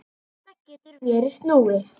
Þetta getur verið snúið.